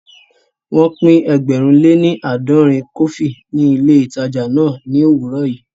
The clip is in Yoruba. Wọ́n pín ẹgbẹ̀rún lè ní aadòrin kọfí ní ilé ìtajà náà ní òwúrọ̀ yìí